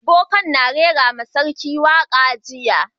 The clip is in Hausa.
Boka'n na rera ma sarki waka jiya.